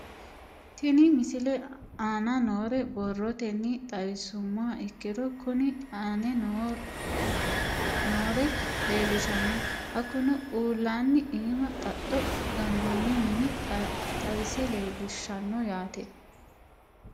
Tenne misile aana noore borrotenni xawisummoha ikirro kunni aane noore leelishano. Hakunno uulanna iima xaxxo ganoonni mine xawise leelishshanno yaate.